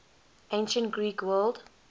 ancient greek world